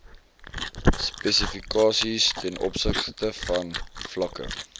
spesifikasies tov vlakke